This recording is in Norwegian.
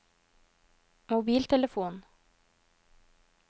mobiltelefon